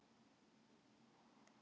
Gott sagði hann kuldalega.